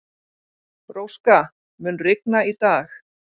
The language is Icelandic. Róska, mun rigna í dag?